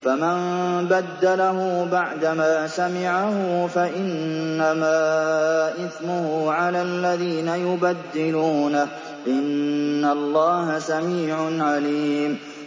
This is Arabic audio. فَمَن بَدَّلَهُ بَعْدَمَا سَمِعَهُ فَإِنَّمَا إِثْمُهُ عَلَى الَّذِينَ يُبَدِّلُونَهُ ۚ إِنَّ اللَّهَ سَمِيعٌ عَلِيمٌ